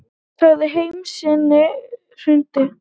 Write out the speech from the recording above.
Sagði heim sinn hruninn.